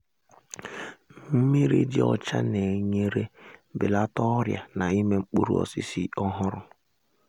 mmiri dị ọcha na-enyere belata ọrịa na-ime mkpụrụ osisi ọhụrụ